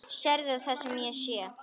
Sérðu það sem ég sé?